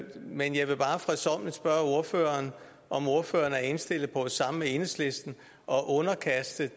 men jeg vil bare fredsommeligt spørge ordføreren om ordføreren er indstillet på sammen med enhedslisten at underkaste